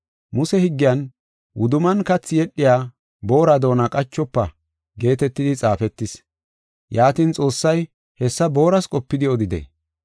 Muse Higgiyan, “Wuduman kathi yedhiya boora doona qachofa” geetetidi xaafetis. Yaatin Xoossay hessa booras qopidi odidee?